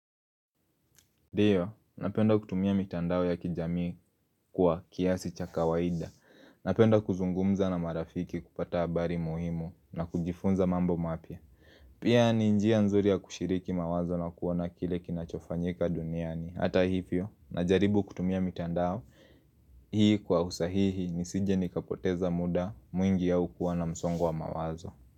Dno, napenda kutumia mitandao ya kijamii kwa kiasi cha kawaida Napenda kuzungumza na marafiki kupata habari muhimu na kujifunza mambo mapya Pia ni njia nzuri ya kushiriki mawazo na kuona kile kinachofanyika duniani Hata hivyo, na jaribu kutumia mitandao Hii kwa usahihi ni sije nikapoteza muda mwingi aukuwa na msongowa mawazo.